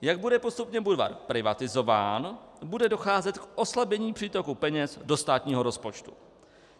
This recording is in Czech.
Jak bude postupně Budvar privatizován, bude docházet k oslabení přítoku peněz do státního rozpočtu.